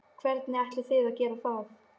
Hvernig ætlið þið að gera það?